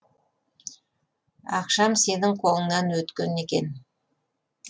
ақшам сенің қолыңнан өткен екен